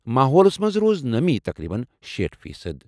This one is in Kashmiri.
ماحولس منٛز روٗز نمی تقریباً شیٖٹھ فیٖصد۔